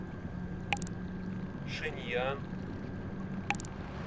шэньян